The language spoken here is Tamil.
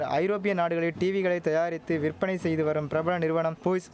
ஐரோப்பிய நாடுகளில் டீவிகளை தயாரித்து விற்பனை செய்து வரும் பிரபல நிறுவனம் போய்ஸ்